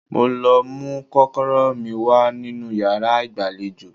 Mo lọ mú kọ́kọ́rọ́ mi wá nínú yàrá ìgbàlejò